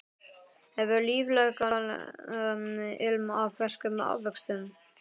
Hefur líflegan ilm af ferskum ávöxtum.